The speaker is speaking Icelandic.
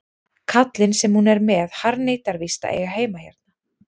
Kallinn sem hún er með harðneitar víst að eiga heima hérna.